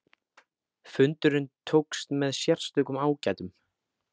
Fundurinn tókst með sérstökum ágætum.